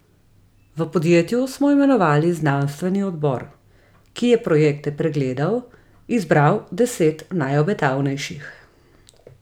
V podjetju smo imenovali znanstveni odbor, ki je projekte pregledal, izbral deset najobetavnejših.